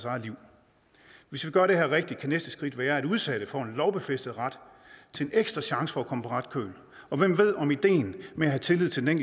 eget liv hvis vi gør det her rigtigt kan næste skridt være at udsatte får en lovfæstet ret til en ekstra chance for at komme på ret køl og hvem ved om ideen med at have tillid til den